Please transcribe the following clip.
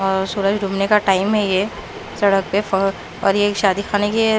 सूरज घूमने का टाइम है ये सड़क पे और ये शादी खाने की--